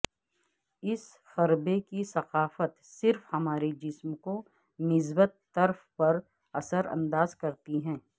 اس خربے کی ثقافت صرف ہمارے جسم کو مثبت طرف پر اثر انداز کرتی ہے